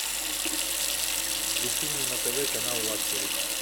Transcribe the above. включи мне на тв канал лакшери